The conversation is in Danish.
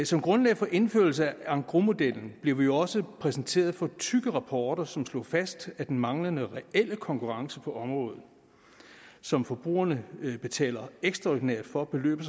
som grundlag for indførelse af engrosmodellen blev vi jo også præsenteret for tykke rapporter som slår fast at den manglende reelle konkurrence på området som forbrugerne betaler ekstraordinært for løber